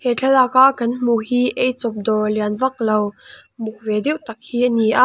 he thlalak a kan hmuh hi eichawp dawr lian vaklo muk ve deuh tak hi ani a.